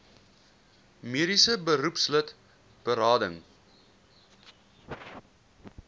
mediese beroepslid berading